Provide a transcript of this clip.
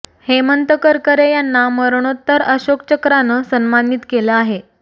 हेमंत करकरे यांना मरणोत्तर अशोक चक्रानं सन्मानित केलं आहे